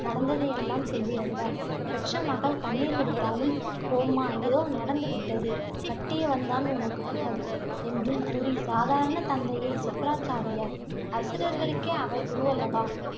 நடந்ததையெல்லாம் சொல்லி அழுதாள். பெற்ற மகள் கண்ணீர் வடித்தாலும், போம்மா ஏதோ நடந்து விட்டது. கட்டியவன் தான் உனக்கு புகல், என்றும் கூறி சாதாரண தந்தையை சுக்ராச்சாரியார். அசுரர்களுக்கே அவர் குருவல்லவா